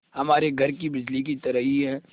हमारे घर की बिजली की तरह ही है